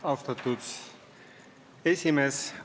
Austatud esimees!